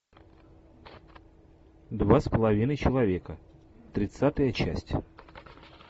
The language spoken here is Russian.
два с половиной человека тридцатая часть